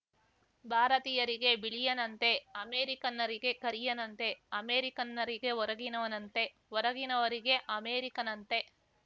ಭಾರತೀಯರಿಗೆ ಬಿಳಿಯನಂತೆ ಅಮೇರಿಕನ್ನರಿಗೆ ಕರಿಯನಂತೆ ಅಮೇರಿಕನ್ನರಿಗೆ ಹೊರಗಿನವನಂತೆ ಹೊರಗಿನವರಿಗೆ ಅಮೇರಿಕನಂತೆ